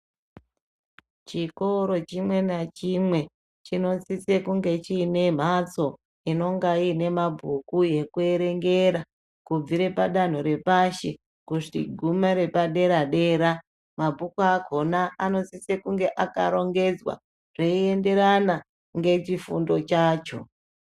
Chikoro chimwe nachimwe chinosise kunge chiine mhatso inonga iine mabhuku ekuerengera kubvire padanho repashi kusvi kugume repadera dera mabhuku akhona anosise kunge akarongedzwa zveienderana ngechifundo chacho.